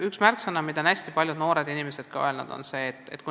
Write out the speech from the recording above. Üks märksõna, mida on hästi palju noortelt inimestelt kuulda olnud, on kindlustunne.